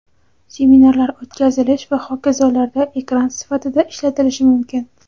seminarlar o‘tkazish va hokazolarda ekran sifatida ishlatilishi mumkin.